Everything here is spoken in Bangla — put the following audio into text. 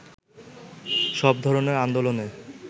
সব ধরণের আন্দোলনে